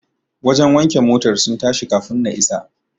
Wajen wanke motar sun tashi kafun na isa.